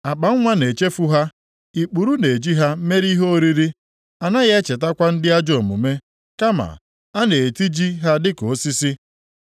Akpanwa na-echefu ha, ikpuru na-eji ha mere ihe oriri; anaghị echetakwa ndị ajọọ omume kama a na-etiji ha dịka osisi.